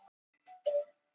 Jú, auðvitað er hann farinn.